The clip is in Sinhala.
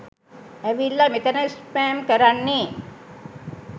ඇවිල්ල මෙතැන ස්පෑම් කරන්නෙ